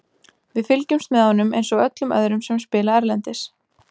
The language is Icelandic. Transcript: Við fylgjumst með honum eins og öllum öðrum sem spila erlendis.